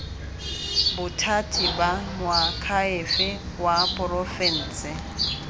bothati ba moakhaefe wa porofense